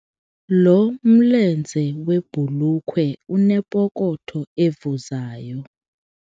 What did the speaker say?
Lo mlenze webhulukhwe unepokotho evuzayo.